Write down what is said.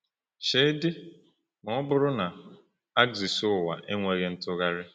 Cheedị ma ọ bụrụ na axis ụwa enweghị ntụgharị!